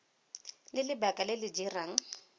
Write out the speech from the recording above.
le lebaka le le dirang